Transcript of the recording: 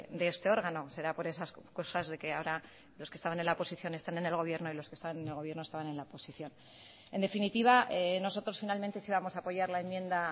de este órgano será por esas cosas de que ahora los que estaban en la oposición están en el gobierno y los que están en el gobierno estaban en la oposición en definitiva nosotros finalmente sí vamos a apoyar la enmienda